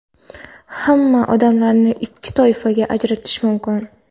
Hamma odamlarni ikki toifaga ajratish mumkin.